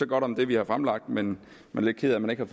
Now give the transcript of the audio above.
godt om det vi har fremlagt men er lidt ked af at man ikke har